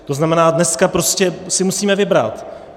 To znamená, dneska prostě si musíme vybrat.